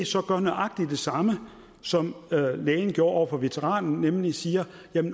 så gør nøjagtig det samme som lægen gjorde over for veteranen nemlig siger